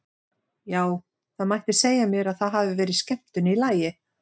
Já, það mætti segja mér að það hafi verið skemmtun í lagi!